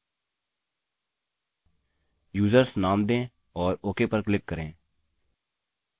users नाम दें और ok पर क्लिक करें